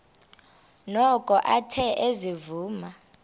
noko athe ezivuma